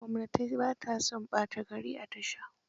Gwamnatai ba ta son ɓata gari a tasha.